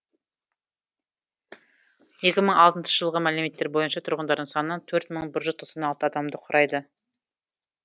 екі мың алтыншы жылғы мәліметтер бойынша тұрғындарының саны төрт мың бір жүз тоқсан алты адамды құрайды